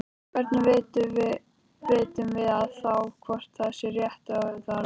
Hvernig vitum við þá hvort það sé rétt eða rangt?